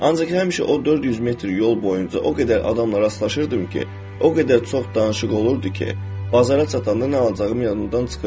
Ancaq həmişə o 400 metr yol boyunca o qədər adama rastlaşırdım ki, o qədər çox danışıq olurdu ki, bazara çatanda nə alacağım yadımdan çıxırdı.